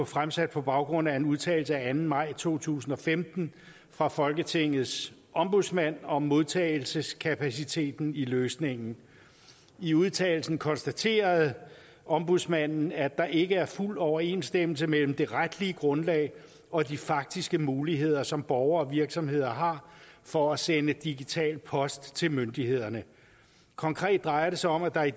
fremsat på baggrund af en udtalelse af anden maj to tusind og femten fra folketingets ombudsmand om modtagelseskapaciteten i løsningen i udtalelsen konstaterede ombudsmanden at der ikke er fuld overensstemmelse mellem det retlige grundlag og de faktiske muligheder som borgere og virksomheder har for at sende digital post til myndighederne konkret drejer det sig om at der i